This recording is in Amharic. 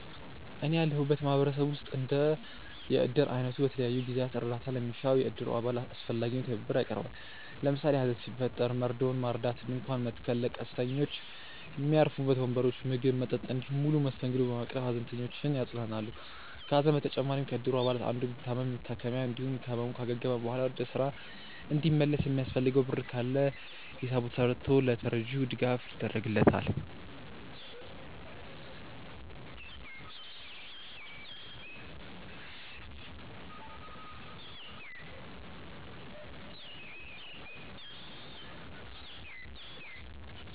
እኔ ያለሁበት ማህበረሰብ ውስጥ እንደ የእድር አይነቱ በተለያዩ ጊዜያት እርዳታ ለሚሻው የእድሩ አባል አስፈላጊውን ትብብር ያቀርባል። ለምሳሌ ሀዘን ሲፈጠር መርዶውን ማርዳት፣ ድንኳን መትከል፣ ለቀስተኞች ሚያርፉበት ወንበሮች፣ ምግብ፣ መጠጥ እንዲሁም ሙሉ መስተንግዶ በማቅረብ ሃዘንተኞችን ያጽናናሉ። ከሀዘን በተጨማሪም ከእድር አባላቱ አንዱ ቢታመም የመታከሚያ እንዲሁም ከህመሙ ካገገመ በኋላ ወደ ስራ እንዲመለስ የሚያስፈልገው ብር ካለ ሂሳብ ተስርቶ ለተረጂው ድጋፍ ይደረግለታል።